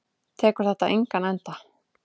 Tekur þetta engan enda?